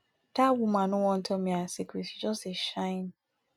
dat woman no wan tell me her secret she just dey shine